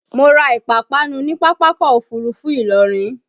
Mo ra ìpápánu ni Pápákọ̀ Òfurufú Ìlọrin